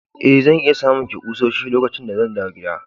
Eh, zan iya samun ki kusoshi lokacin da zan dawo gida.